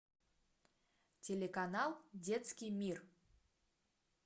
телеканал детский мир